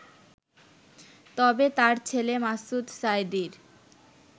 তবে তাঁর ছেলে মাসুদ সাঈদীর